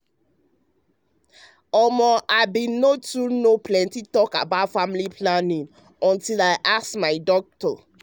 ummm i no too know plenty about family planning true true until i bin ask my doc.